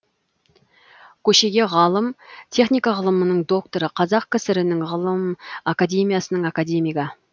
көшеге ғалым техника ғылымының докторы қазақ кср інің ғылым академиясының академигі